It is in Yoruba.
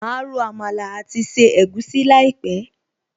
Máa ro Àmàlà àti se egusi láìpẹ̀